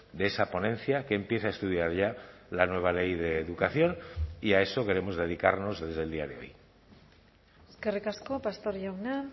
de esa ponencia que empiece a estudiar ya la nueva ley de educación y a eso queremos dedicarnos desde el día de hoy eskerrik asko pastor jauna